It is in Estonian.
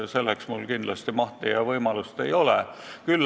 Selleks mul kindlasti mahti ja võimalust ei ole.